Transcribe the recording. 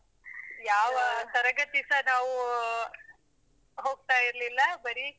ಯಾವ ತರಗತಿಸ ನಾವು ಹೋಗ್ತಾ ಇರ್ಲಿಲ್ಲ ಬರೀ.